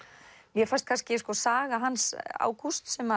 mér fannst kannski saga hans Ágústs sem